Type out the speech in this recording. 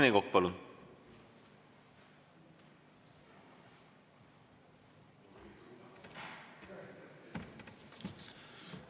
Rene Kokk, palun!